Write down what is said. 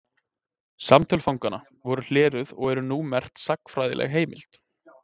Samtöl fanganna voru hleruð og eru nú merk sagnfræðileg heimild.